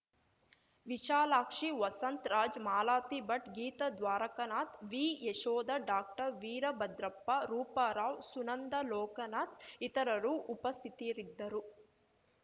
ವಿಶಾಲಾಕ್ಷಿ ವಸಂತ್‌ರಾಜ್‌ ಮಾಲತಿ ಭಟ್‌ ಗೀತಾ ದ್ವಾರಕನಾಥ್‌ ವಿಯಶೋಧ ಡಾಕ್ಟರ್ ವೀರಭದ್ರಪ್ಪ ರೂಪಾರಾವ್‌ ಸುನಂದಾ ಲೋಕನಾಥ್‌ ಇತರರು ಉಪಸ್ಥಿತರಿದ್ದರು